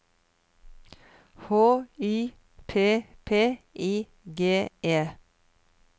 H Y P P I G E